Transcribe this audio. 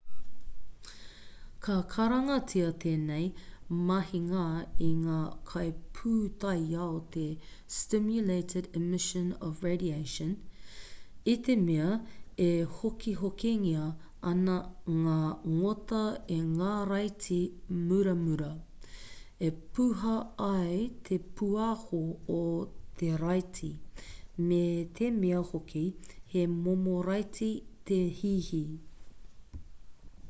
ka karangatia tēnei mahinga e ngā kaipūtaiao te stimulated emission of radiation i te mea e hikohikongia ana ngā ngota e ngā raiti muramura e puha ai te pūaho o te raiti me te mea hoki he momo raiti te hihi